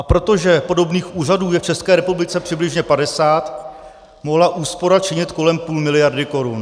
A protože podobných úřadů je v České republice přibližně 50, mohla úspora činit kolem půl miliardy korun.